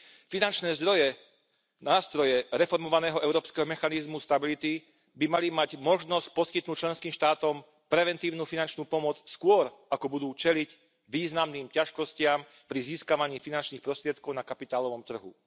Finančné zdroje, nástroje reformovaného Európskeho mechanizmu pre stabilitu by mali mať možnosť poskytnúť členským štátom preventívnu finančnú pomoc skôr, ako budú čeliť významným ťažkostiam pri získavaní finančných prostriedkov na kapitálovom trhu.